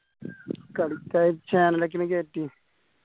കളിക്കാർ കേറ്റിന്